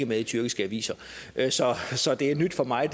med i tyrkiske aviser aviser så det er nyt for mig